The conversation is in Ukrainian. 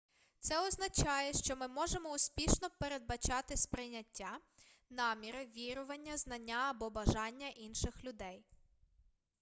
це означає що ми можемо успішно передбачати сприйняття наміри вірування знання або бажання інших людей